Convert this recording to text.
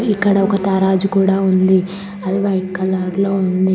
ఇక్కడ ఒక తారాజు కూడా ఉంది అది వైట్ కలర్ లో ఉంది.